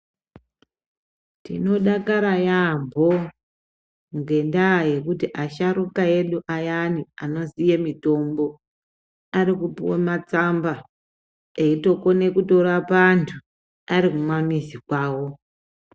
Tinodakara yamhoo ngenda yekuti asharuka edu ayani anoziye mitombo, arikupuwa matsamba eitokone kutorapa antu ari kumamizi kwawo.